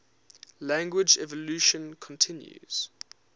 language evolution continues